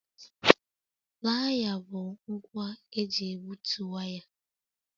Playa bụ ngwa eji egbutu waya